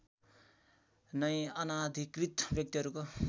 नै अनाधिकृत व्यक्तिहरूको